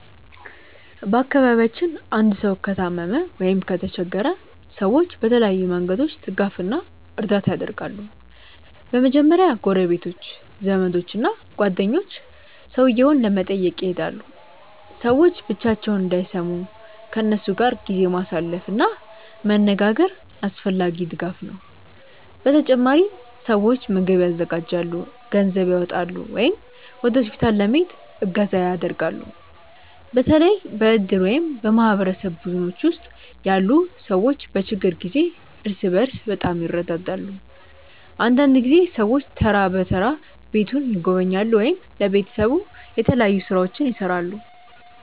በአካባቢያችን አንድ ሰው ከታመመ ወይም ከተቸገረ ሰዎች በተለያዩ መንገዶች ድጋፍ እና እርዳታ ያደርጋሉ። በመጀመሪያ ጎረቤቶች፣ ዘመዶች እና ጓደኞች ሰውየውን ለመጠየቅ ይሄዳሉ። ሰዎች ብቻቸውን እንዳይሰሙ ከእነሱ ጋር ጊዜ ማሳለፍ እና መነጋገር አስፈላጊ ድጋፍ ነው። በተጨማሪም ሰዎች ምግብ ያዘጋጃሉ፣ ገንዘብ ያዋጣሉ ወይም ወደ ሆስፒታል ለመሄድ እገዛ ያደርጋሉ። በተለይ በእድር ወይም በማህበረሰብ ቡድኖች ውስጥ ያሉ ሰዎች በችግር ጊዜ እርስ በርስ በጣም ይረዳዳሉ። አንዳንድ ጊዜ ሰዎች ተራ በተራ ቤቱን ይጎበኛሉ ወይም ለቤተሰቡ የተለያዩ ሥራዎችን ይሠራሉ።